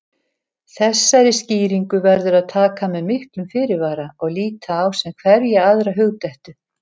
Þessari skýringu verður að taka með miklum fyrirvara og líta á sem hverja aðra hugdettu.